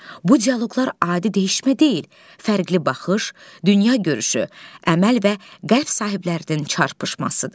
Bu dialoqlar adi dəyişmə deyil, fərqli baxış, dünya görüşü, əməl və qəlb sahiblərinin çarpışmasıdır.